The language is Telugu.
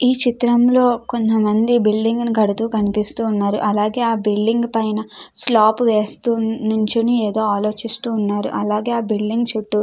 ఈ చిత్రంలో కొంతమంది బిల్డింగ్ కడుతూ కనిపిస్తున్నారు. అలాగే ఆ బిల్డింగ్ పైన స్లాబ్ వేస్తూ నిల్చోని ఏదో ఆలోచిస్తూ ఉన్నారు. అలాగే ఆ బిల్డింగ్ చుట్టూ --